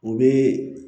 U bɛ